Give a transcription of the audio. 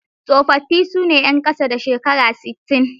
Tsofaffi su ne 'yan sama da shekara sittin.